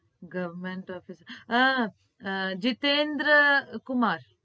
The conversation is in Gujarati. Goverment officer ah Jitendra Kumar